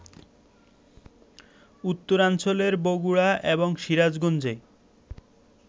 উত্তরাঞ্চলের বগুড়া এবং সিরাজগঞ্জে